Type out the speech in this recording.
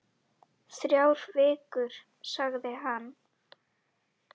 Þrjár vikur, sagði hann.